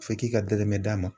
F'e k'i ka dɛrɛmɛ d'a ma.